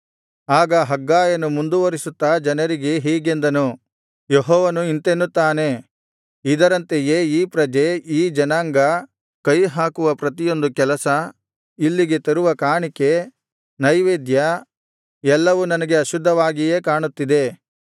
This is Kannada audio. ಆಗ ಹಗ್ಗಾಯನು ಮುಂದುವರಿಸುತ್ತಾ ಜನರಿಗೆ ಹೀಗೆಂದನು ಯೆಹೋವನು ಇಂತೆನ್ನುತ್ತಾನೆ ಇದರಂತೆಯೇ ಈ ಪ್ರಜೆ ಈ ಜನಾಂಗ ಕೈಹಾಕುವ ಪ್ರತಿಯೊಂದು ಕೆಲಸ ಇಲ್ಲಿಗೆ ತರುವ ಕಾಣಿಕೆ ನೈವೇದ್ಯ ಎಲ್ಲವೂ ನನಗೆ ಅಶುದ್ಧವಾಗಿಯೇ ಕಾಣುತ್ತಿದ್ದೆ